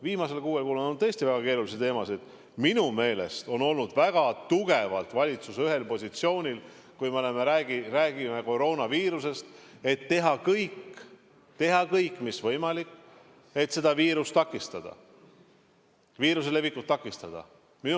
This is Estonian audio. Minu meelest on valitsus olnud väga tugevalt ühel positsioonil, kui me räägime koroonaviirusest: teha kõik mis võimalik, et viiruse levikut takistada.